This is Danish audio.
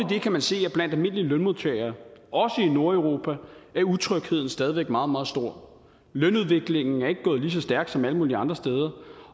kan man se at blandt almindelige lønmodtagere også i nordeuropa er utrygheden stadig væk meget meget stor lønudviklingen er ikke gået lige så stærkt som alle mulige andre steder